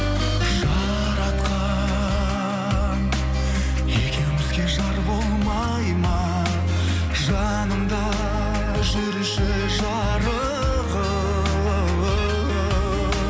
жаратқан екеумізге жар болмайды ма жанымда жүрші жарығым